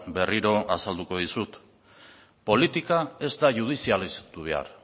berriro azalduko dizut politika ez da judizialeztu behar